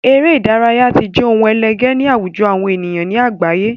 Eré ìdárayá tí jẹ ohun ẹlẹgé ní àwùjọ àwọn èèyàn ní àgbáyé